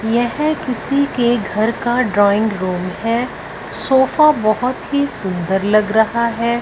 यह किसी के घर का ड्राइंग रूम है सोफा बहुत ही सुंदर लग रहा है।